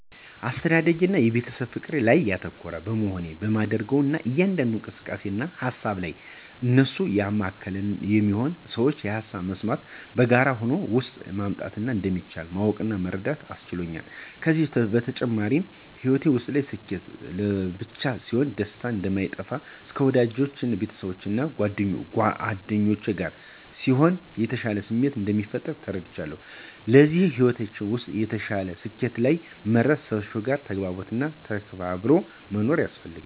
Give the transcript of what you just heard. አስተዳደጌ የቤተሰብ ፍቅር ላይ ያተኮረ በመሆኑ በማደርገው እያንዳንዱ እንቅስቃሴ እና ሃሳብ ላይ እነሱን ያማከለ ነው የሚሆነው። የሠዎችን ሃሳብ መስማት እና በጋራ ሆኖ ለውጥ ማምጣት እንደሚቻል ማወቅ እና መረዳት አስችሎኛል። ከዚም በተጨማሪ በሕይወታችን ውስጥ ስኬት ለብቻ ሲሆን ደስታ እንደማይፈጥር እና ከወዳጅ ቤተሰብ እና ጉአደኛ ጋር ሲሆን የተሻለ ስሜት እንደሚፈጥር ተረድቻለው። ስለዚህ በሕይወታችን ውስጥ የተሻለ ስኬት ላይ ለመድረስ ሰዎች ጋር ተግባብቶ እና ተከባብሮ መኖር ያስፈልጋል።